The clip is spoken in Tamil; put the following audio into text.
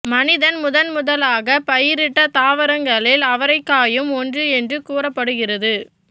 மனிதன் முதன் முதலாகப் பயிரிட்ட தாவரங்களில் அவரைக்காயும் ஒன்று என்று கூறப்படுகிறது